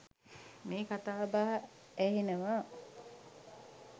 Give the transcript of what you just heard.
මේ කතා බහ ඇහෙනවා.